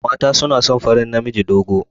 Mata suna son farin namiji dogo.